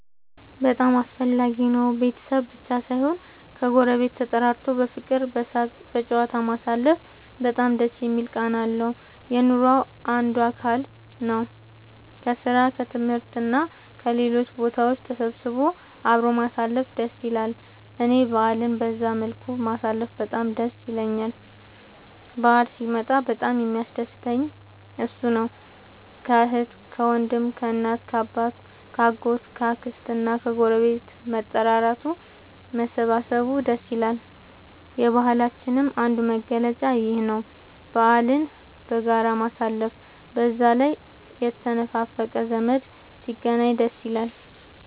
በጣም አስፈላጊ ነው ቤተሰብ ብቻ ሳይሆን ከ ጎረቤት ተጠራርቶ በፍቅር በሳቅ በጨዋታ ማሳለፉ በጣም ደስ የሚል ቃና አለው። የኑሮ አንዱ አካል ነው። ከስራ እና ከትምህርት እና ከሌሎችም ቦታ ተሰብስቦ አብሮ ማሳለፍ ደስ ይላል እኔ በአልን በዛ መልኩ ማሳለፍ በጣም ደስ ይለኛል በአል ሲመጣ በጣም የሚያስደስተኝ እሱ ነው። ከአህት ከወንድም ከእናት ከአባት ከ አጎት ከ አክስት ከግረቤት መጠራራቱ መሰባሰብ ደስ ይላል። የባህላችንም አንዱ መገለጫ ይኽ ነው በአልን በጋራ ማሳለፍ። በዛ ላይ የተነፋፈቀ ዘመድ ሲገናኝ ደስ ይላል